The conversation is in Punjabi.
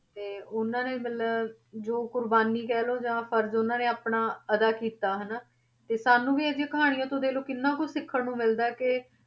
ਤੇ ਉਹਨਾਂ ਨੇ ਮਤਲਬ ਜੋ ਕੁਰਬਾਨੀ ਕਹਿ ਲਓ ਜਾਂ ਫ਼ਰਜ਼ ਉਹਨਾਂ ਨੇ ਆਪਣਾ ਅਦਾ ਕੀਤਾ ਹਨਾ, ਤੇ ਸਾਨੂੰ ਵੀ ਇਹ ਜਿਹੀਆਂ ਕਹਾਣੀਆਂ ਤੋਂ ਦੇਖ ਲਓ ਕਿੰਨਾ ਕੁਛ ਸਿੱਖਣ ਨੂੰ ਮਿਲਦਾ ਕਿ